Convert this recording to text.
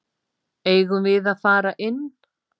Eigum við að fara inn?